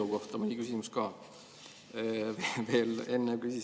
Kui tohib, siis mõni küsimus ka selle eelnõu kohta.